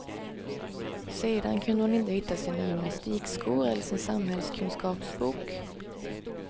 Sedan kunde hon inte hitta sina gymnastikskor eller sin samhällskunskapsbok.